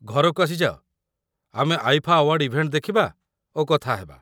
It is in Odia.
ଘରକୁ ଆସି ଯାଅ, ଆମେ ଆଇଫା ଆୱାର୍ଡ ଇଭେଣ୍ଟ ଦେଖିବା ଓ କଥା ହେବା।